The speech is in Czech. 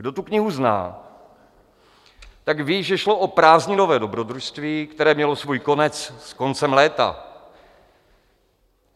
Kdo tuto knihu zná, tak ví, že šlo o prázdninové dobrodružství, které mělo svůj konec s koncem léta.